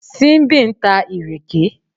Simbi ń ta ìrèké